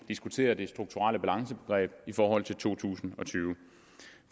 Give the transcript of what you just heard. diskuterer det strukturelle balancebegreb i forhold til to tusind og tyve